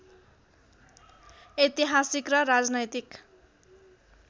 ऐतिहासिक र राजनैतिक